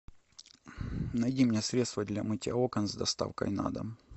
найди мне средство для мытья окон с доставкой на дом